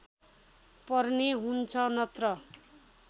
पर्ने हुन्छ नत्र